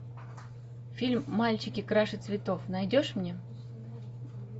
фильм мальчики краше цветов найдешь мне